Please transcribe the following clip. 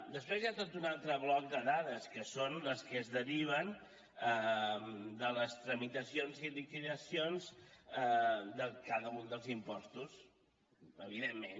després hi ha tot un altre bloc de dades que són les que es deriven de les tramitacions i liquidacions de cada un dels impostos evidentment